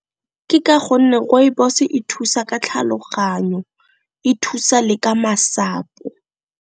Ke ka gonne Rooibos e thusa ka tlhaloganyo, e thusa le ka masapo.